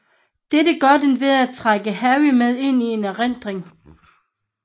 Dette gør den ved at trække Harry med ind i en erindring